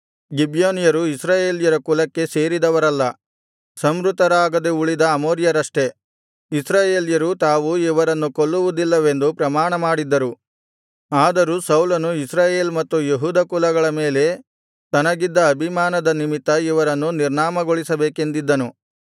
ಗಿಬ್ಯೋನ್ಯರು ಇಸ್ರಾಯೇಲ್ಯರ ಕುಲಕ್ಕೆ ಸೇರಿದವರಲ್ಲ ಸಂಹೃತರಾಗದೆ ಉಳಿದ ಅಮೋರಿಯರಷ್ಟೆ ಇಸ್ರಾಯೇಲ್ಯರು ತಾವು ಇವರನ್ನು ಕೊಲ್ಲುವುದಿಲ್ಲವೆಂದು ಪ್ರಮಾಣಮಾಡಿದ್ದರು ಆದರೂ ಸೌಲನು ಇಸ್ರಾಯೇಲ್ ಮತ್ತು ಯೆಹೂದ ಕುಲಗಳ ಮೇಲೆ ತನಗಿದ್ದ ಅಭಿಮಾನದ ನಿಮಿತ್ತ ಇವರನ್ನು ನಿರ್ನಾಮಗೊಳಿಸಬೇಕೆಂದಿದ್ದನು